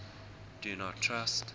do not trust